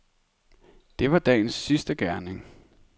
Det var dagens sidste gerning.